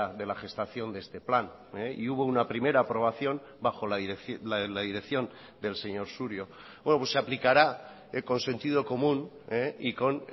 de la gestación de este plan y hubo una primera aprobación bajo la dirección del señor surio se aplicará el consentido común y con